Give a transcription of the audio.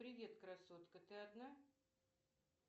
привет красотка ты одна